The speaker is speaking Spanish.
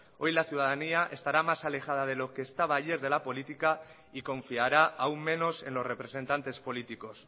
hoy la ciudadanía estará más alejada de lo que estaba ayer de la política y confiará aún menos en los representantes políticos